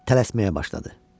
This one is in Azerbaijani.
Tələsməyə başladı.